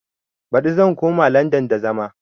Baɗi zan koma landan da zama